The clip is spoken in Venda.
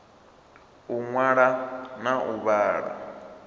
u ṅwala na u vhala